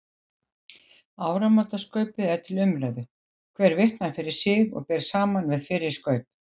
Áramótaskaupið er til umræðu, hver vitnar fyrir sig og ber saman við fyrri skaup.